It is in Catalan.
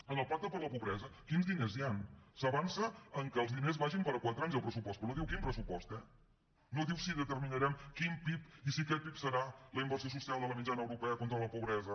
en el pacte per la pobresa quins diners hi han s’avança amb què els diners vagin per a quatre anys el pressupost però no diu quin pressupost eh no diu si determinarem quin pib i si aquest pib serà la inversió social de la mitjana europea contra la pobresa